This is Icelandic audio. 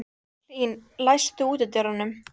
Hlín, læstu útidyrunum.